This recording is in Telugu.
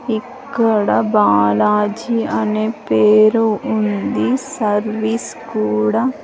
ఇక్కడ బాలాజీ అనే పేరు ఉంది సర్వీస్ కూడా.